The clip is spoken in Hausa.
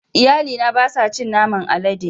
Iyalina ba sa cin naman alade.